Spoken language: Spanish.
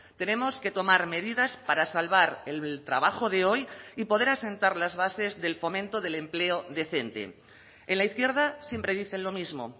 tenemos que tomar medidas para salvar el trabajo de hoy y poder asentar las bases del fomento del empleo decente en la izquierda siempre dicen lo mismo